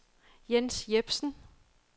Jens Jepsen